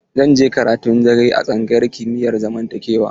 Zan je karatun dare a tsangayar kimiyar zamantakewa.